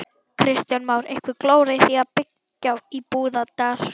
Kristján Már: Einhver glóra í því að byggja í Búðardal?